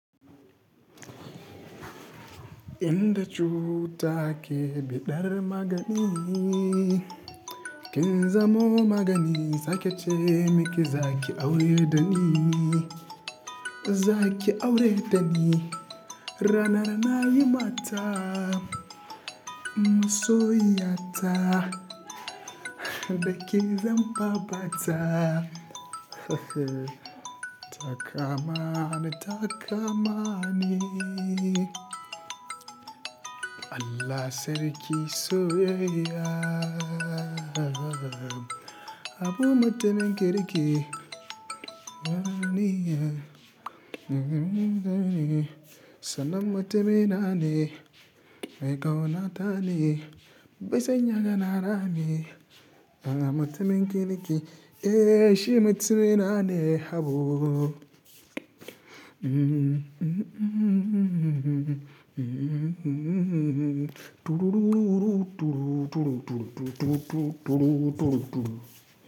Inda cuta ke biɗar magani, kin zamo magani sake ce miki za ki aure dani, za ki aure dani. Rana rana yi mata, so yiyata, da ke zan fafa ta. Ta kama ni, ta kama ni. Allah sarki soyayya. Habu mutumin kirki. Sanan mutumi nane, mai ƙaunatane, baisan yaga na rame, ana mutumin kirki. Eh shi mutumi nane Habu.